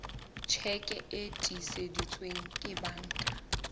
tjheke e tiiseditsweng ke banka